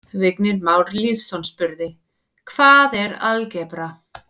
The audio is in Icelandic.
Vignir Már Lýðsson spurði: Hvað er algebra?